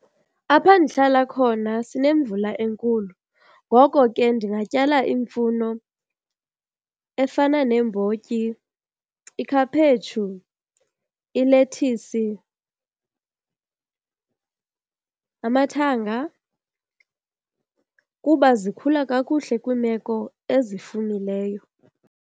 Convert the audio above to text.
Apha ndihlala khona sinemvula enkulu ngoko ke ndingatyala imfuno efana neembotyi, ikhaphetshu, ilethisi, amathanga kuba zikhula kakuhle kwiimeko ezifumileyo.